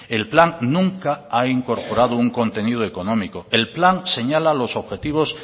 el plan nunca ha incorporado un contenido económico el plan señala los objetivos